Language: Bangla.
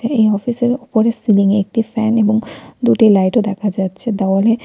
এই অফিস এর ওপরের সিলিং এ একটি ফ্যান এবং দুটি লাইট ও দেখা যাচ্ছে দেওয়ালে --